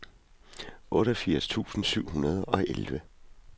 otteogfirs tusind syv hundrede og elleve